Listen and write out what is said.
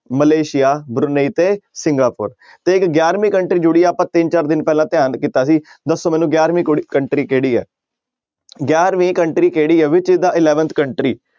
Malaysia ਤੇ Singapore ਤੇ ਇੱਕ ਗਿਆਰਵੀਂ country ਜੁੜੀ ਹੈ ਆਪਾਂ ਤਿੰਨ ਚਾਰ ਦਿਨ ਪਹਿਲਾਂ ਧਿਆਨ ਕੀਤਾ ਸੀ ਦੱਸੋ ਮੈਨੂੰ ਗਿਆਰਵੀਂ ਕੁੜ~ country ਕਿਹੜੀ ਹੈ ਗਿਆਰਵੀਂ country ਕਿਹੜੀ ਹੈ which is the eleventh country